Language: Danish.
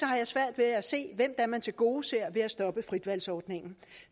jeg svært ved at se hvem er man tilgodeser ved at stoppe fritvalgsordningen